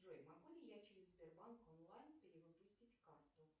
джой могу ли я через сбербанк онлайн перевыпустить карту